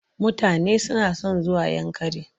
Mutane suna son zuwa Yankari.